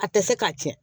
A tɛ se k'a tiɲɛ